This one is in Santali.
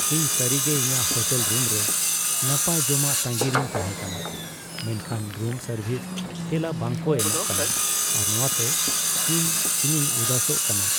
ᱤᱧ ᱥᱟᱹᱨᱤᱜᱮ ᱤᱧᱟᱹᱜ ᱦᱳᱴᱮᱞ ᱨᱩᱢ ᱨᱮ ᱱᱟᱯᱟᱭ ᱡᱚᱢᱟᱜ ᱛᱟᱸᱜᱤ ᱨᱮᱧ ᱛᱟᱦᱮ ᱠᱟᱱᱟ, ᱢᱮᱱᱠᱷᱟᱱ ᱨᱩᱢ ᱥᱟᱨᱵᱷᱤᱥ ᱛᱮᱞᱟ ᱵᱟᱝᱠᱚ ᱮᱢᱚᱜ ᱠᱟᱱᱟ ᱟᱨ ᱱᱚᱶᱟᱛᱮ ᱤᱧ ᱤᱧᱤᱧ ᱩᱫᱟᱹᱥᱚᱜ ᱠᱟᱱᱟ ᱾